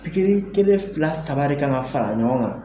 Pikiri kelen fila saba de ka kan ka fara ɲɔgɔn kan.